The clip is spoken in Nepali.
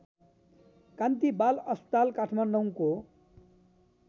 कान्ति बाल अस्पताल काठमाडौँको